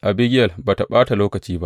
Abigiyel ba tă ɓata lokaci ba.